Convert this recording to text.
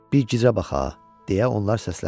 Bir gicə bax ha! – deyə onlar səsləndilər.